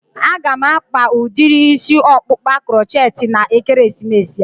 A ga m akpa udiri isi ọkpụkpa crochetti na ekeresimesi a